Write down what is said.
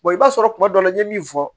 i b'a sɔrɔ kuma dɔ la i ye min fɔ